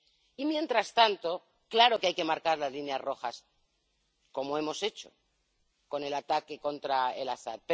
Y mientras tanto, claro que hay que marcar las líneas rojas, como hemos hecho con el ataque contra Al Asad.